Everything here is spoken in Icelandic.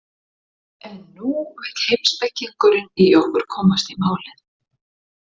En nú vill heimspekingurinn í okkur komast í málið.